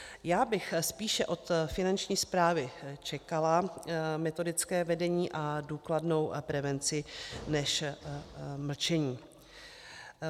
Já bych spíše od Finanční správy čekala metodické vedení a důkladnou prevenci než mlčení.